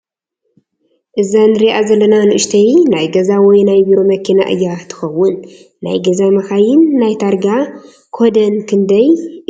እዛ ንሪኣ ዘለና ንኡሽተይ ናይ ገዛ ወይ ናይ ቢሮ መኪና እያ ትኸውን፡፡ ናይ ገዛ መኻይን ናይ ታርጋ ኮደን ክንደይ እዩ ዝብል?